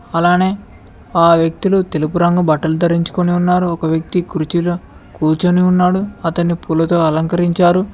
అలానే ఆ వ్యక్తులు తెలుపు రంగు బట్టలు ధరించుకొని ఉన్నారు ఒక వ్యక్తి కుర్చీలో కూర్చొని ఉన్నాడు అతన్ని పూలతో అలంకరించారు.